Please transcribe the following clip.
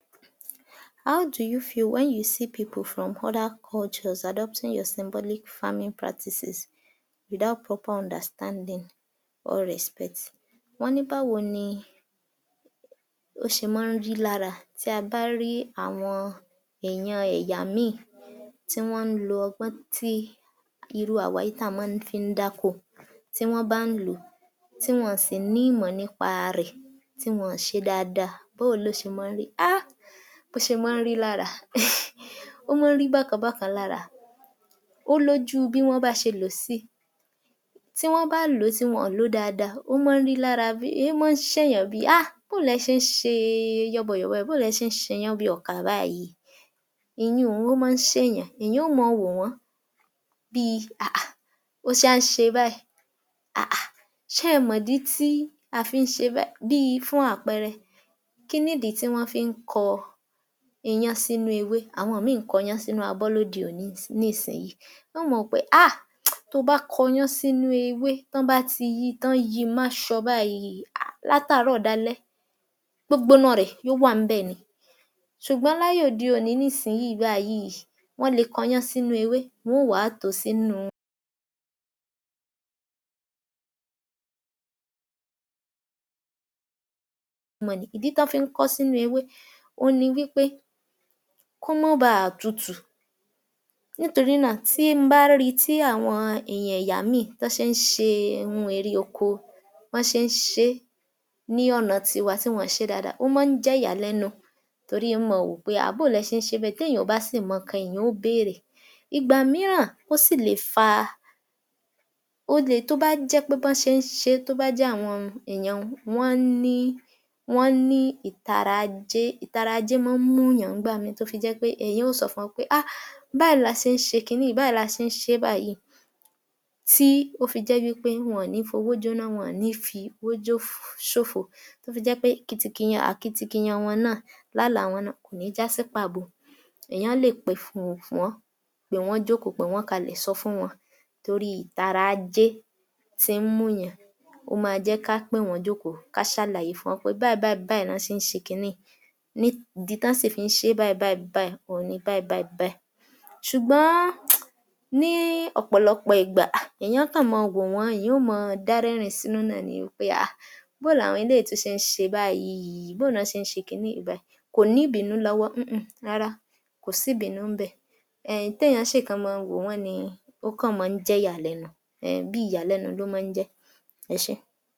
How do you feel when you see people from other cultures adopting your symbolic farming practices without proper understanding or respect? Wọ́n ní báwo ni ó ṣe mọ́n ń rí lára bí a bá rí àwọn èèyàn ẹ̀yà míìn tí wọ́n ń lo ọgbọ́n tí irú àwa yìí tí à mọ́n fi ń dákó tí wọ́n bá lò ó, tí wọn ò sí ní ìmọ̀ nípa rẹ̀ tí wọn ò ṣe dáadáa. Bó o ló ṣe mọ́n ń rí? Háà! Bó ṣe mọ́n ń rí lára… Ó mọ́n ń rí bákan bákan lára. Ó lójú bí wọ́n bá ṣe lò ó sí, tí wọ́n bá lò ó, tí wọn ò lò ó dáadáa, ó mọ́n ń rí lára bíí, ń mọ́n ṣèèyàn bíi Haa! Bó o lẹ ṣe ń ṣe e yọ́bọyọ̀bọ, bó o lẹ ṣe ń ṣeyán bíi ọkà báyìí. Ìyun-ùn ó mọ́n ń ṣèèyàn, èèyàn ó mọn wò wọ́n bíi hàhà! O ṣe wá ń ṣe báyìí hàhà! Ṣẹ́ ẹ mọ̀dí tí a fi ń ṣe bẹ́ẹ̀ bíi fún àpẹẹrẹ: kíni ìdí tí wọ́n fi ń kọ iyán sínú ewé? Àwọn ìmín-ìn ń kọ́ iyán sínú abọ́ lóde òní nísìn-in yìí. Wọn ó mọn rò pé háà! Tó o bá kọ iyán sínú ewé tí wọ́n bá ti yí i, tán yí i máṣọ báyìí hà! látáàrọ̀ dalẹ́ gbógbóná rẹ̀ yóò wà ńbẹ̀ ni ṣùgbọ́n láyé òde òní nísìnyìí báyìí wọ́n le kọ iyán sínú ewé, wọn ó wà á tò ó sínú mọnì. Ìdí tí wọ́n fi ń kọ ọ́ sínú ewé òun ni wí pé kó mọ́n bàa tutù, nítorí náà tí n bá rí i tí àwọn èèyàn ẹ̀yà mí-ìn tọ́n ṣe ń ṣe ohun èrè oko bọ́n ṣe ń ṣe é ní ọ̀nà ti wa ti wọ́n ò ṣe é dáadáa, ó mọ́n ń jẹ́ ìyàlẹ́nu torí n o mọn wò ó pé hà! bó o lẹ ṣe ń ṣe é bẹ́ẹ̀, béèyàn ò bá sì mọ nǹkan èèyàn ó bèèrè, ìgbà mìíràn ó sì lè fa, ó le, tó bá jẹ́ pé bọ́n ṣe ń ṣe é tó bá jẹ́ àwọn èèyàn n wọ́n ní, wọ́n ní ìtara ajé, ìtara ajé mọ́n ń múùyàn ńgbà mì-ín tó fi jẹ́ pé èèyàn ó sọ fún wọn pé hà! báyìí la ṣe ń ṣe é kiní yìí, báyìí la ṣe ń ṣe é báyìí tí ó fi jẹ́ pé wọn ò ní fi owó jóná, wọn ò ní fi owó jó ṣòfò, tó fi jẹ́ pé kitikiyan akitikiyan wọn náà làálàá wọn náà kò ní já sí pàbo. Èèyàn lè pé fún fún wọ́n, pé wọ́n jókòó, pé wọ́n kalẹ̀ sọ fún wọn torí ìtara ajé tí ń múùyàn, ó máa jẹ́ ká pè wọ́n jókòó, ká ṣàlàyé fún wọ́n pé báyìí báyìí báyìí ná ṣe ń ṣe kiní yìí ní ìdí tí wọ́n sì fi máa ń ṣe é báyìí báyìí báyìí òhun ni báyìí báyìí báyìí ṣùgbọ́n ní ọ̀pọ̀lọpọ̀ ìgbà hà! èèyàn ó kàn mọn wò wọ́n, èèyàn ò máa dá rẹ́rìn-ín sínú náà ni wí pé hà! bó o làwọn eléyìí tún ṣe ń ṣe báyìí ìí bó o ná ṣe ń ṣe kiní yìí báyìí, kò ní ìbínú lọ́wọ́ húnhùn rárá, kò sí ìbínú ńbẹ̀ téèyàn ó kàn ṣe mọ́n-ọn wò wọ́n ni ó kàn mọ́n ń jẹ́ ìyàlẹ́nu, ẹẹn bí ìyàlẹ́nu ló mọ́n ń jẹ́. Ẹ ṣé.